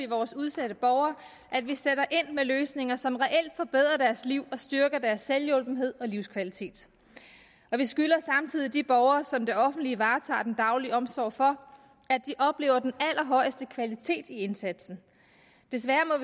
vores udsatte borgere at vi sætter ind med løsninger som reelt forbedrer deres liv og styrker deres selvhjulpenhed og livskvalitet og vi skylder samtidig de borgere som det offentlige varetager den daglige omsorg for at de oplever den allerhøjeste kvalitet i indsatsen desværre